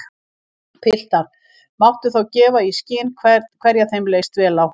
Piltar máttu þá gefa í skyn hverja þeim leist á.